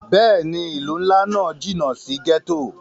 Bẹ́ẹ̀ni, ilu nla náa jinna si gẹto.